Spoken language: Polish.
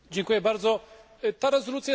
Ta rezolucja jest dobrą rezolucją.